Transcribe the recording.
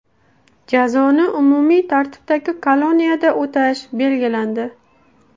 Jazoni umumiy tartibdagi koloniyada o‘tash belgilandi.